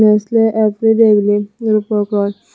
nestle every day biley Rupak Roy.